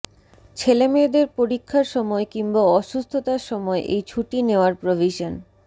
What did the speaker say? ছেলেমেয়েদের পরীক্ষার সময় কিংবা অসুস্থতার সময় এই ছুটি নেওয়ার প্রভিশন